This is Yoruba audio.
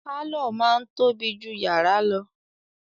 Pàlọ́ máa ń tóbi jù yàrá lọ